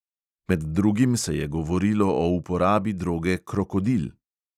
Med drugim se je govorilo o uporabi droge krokodil.